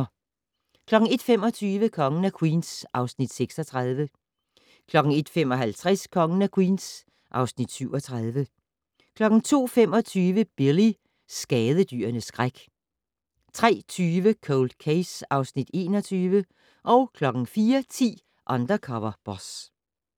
01:25: Kongen af Queens (Afs. 36) 01:55: Kongen af Queens (Afs. 37) 02:25: Billy - skadedyrenes skræk 03:20: Cold Case (Afs. 21) 04:10: Undercover Boss